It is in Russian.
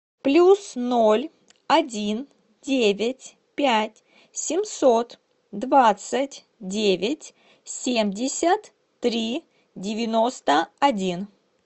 плюс ноль один девять пять семьсот двадцать девять семьдесят три девяносто один